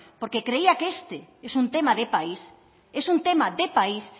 porque creía que este es un tema de país es un tema de país